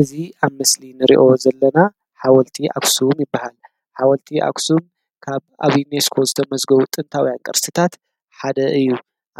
እዚ ኣብ ምስሊ ንሪኦ ዘለና ሓወልቲ ኣኽሱም ይባሃል፡፡ ሓወልቲ ኣኽሱም ካብ ኣብ ዩኒስኮ ዝተመዝገቡ ጥንታውያን ቅርስታት ሓደ እዩ፡፡